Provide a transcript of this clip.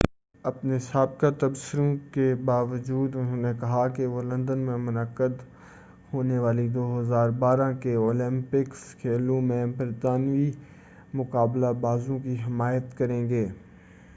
اپنے سابقہ تبصروں کے باوجود انہوں نے کہا کہ وہ لندن میں منعقد ہونے والے 2012 کے اولمپکس کھیلوں میں برطانوی مقابلہ بازوں کی حمایت کریں گے